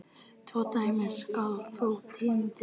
Tvö dæmi skal þó tína til.